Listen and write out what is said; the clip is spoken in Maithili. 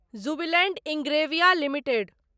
Jubilant Ingrevia limited